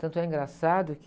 Tanto é engraçado que...